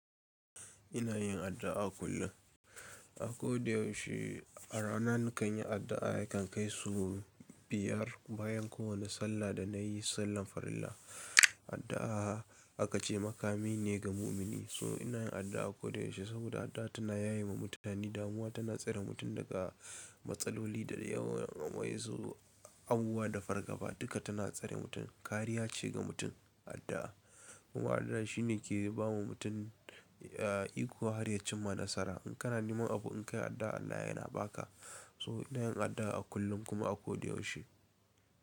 Ina yin addu'a kullum. A ko da yaushe, a rana nakan yi addu'a, yakan kai sau biyar bayan kowane sallah da na yi sallar farilla. Addu'a aka ce makami ne ga mumini. So ina yin addu'a ko da yaushe saboda addu'a tana yaye ma mutane damuwa, tana tsare mutum daga matsaloli da yawa wa, insu, abubuwa da fargaba duka tana tsare mutum. Kariya ce ga mutum addu'a. Kuma addu'a shine ke ba ma mutum, eh, iko har ya cimma nasara. In kana neman abu in kai addu'a Allah ya na ba ka. So ina yin addu'a a kullum kuma a ko da yaushe.